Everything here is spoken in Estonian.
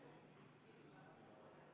Austatud kolleegid!